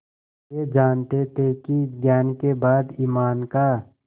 वे जानते थे कि ज्ञान के बाद ईमान का